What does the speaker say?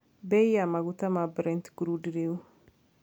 bei ya maguta ma brent crude riu